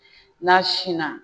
N'a sinna